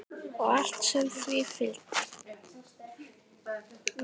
Og allt sem því fylgdi.